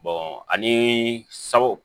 ani sawo